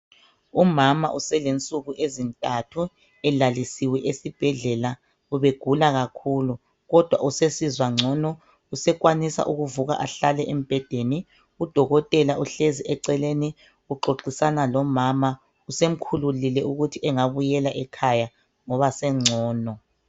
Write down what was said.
Umama uselensuku ezintathu elalisiwe esibhedlela ubegula kakhulu kodwa usesizwa ngcono usekwanisa ukuvuka ehlale embhedeni, udokotela uhlezi eceleni uxoxisana lomama usemkhululile ukuthi engabuyela ekhaya ngoba sengcono.